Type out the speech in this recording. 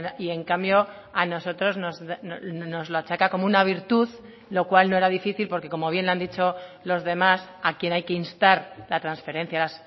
y en cambio a nosotros nos lo achaca como una virtud lo cual no era difícil porque como bien han dicho los demás a quien hay que instar la transferencia